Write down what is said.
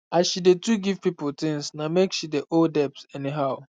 as she dey too give people things na make she dey owe debt any how